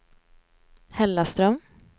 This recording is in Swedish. Hällaström